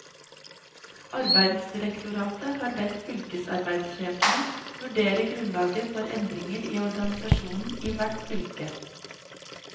Arbeidsdirektoratet har bedt fylkesarbeidssjefene vurdere grunnlaget for endringer i organisasjonen i hvert fylke.